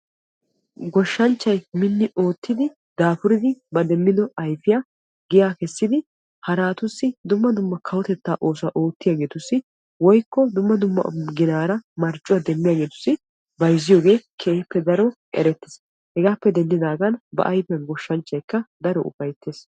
Goshanchchay minni oottiddi daafuriddi ba demiddo ayfiya giya kessiddi harattussi kawotetta oosuwa oottiyagettussi bayzzidddi ba ayfiyan daro ufayttees.